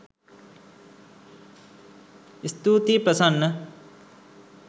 ස්තුතියි ප්‍රසන්න